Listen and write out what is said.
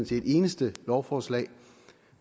til et eneste lovforslag